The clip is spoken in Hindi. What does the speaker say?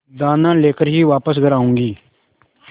दाना लेकर ही वापस घर आऊँगी